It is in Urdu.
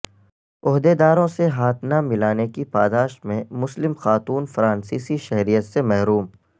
عہدیداروں سے ہاتھ نہ ملانے کی پاداش میں مسلم خاتون فرانسیسی شہریت سے محروم